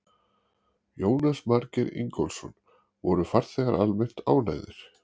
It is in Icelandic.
Jónas Margeir Ingólfsson: Voru farþegar almennt ánægðir?